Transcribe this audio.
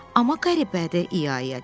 Amma qəribədir, i-ya i-ya dedi.